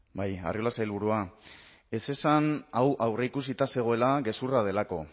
bai arriola sailburua ez esan hau aurreikusita zegoela gezurra delako